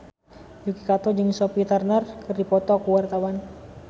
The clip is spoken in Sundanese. Yuki Kato jeung Sophie Turner keur dipoto ku wartawan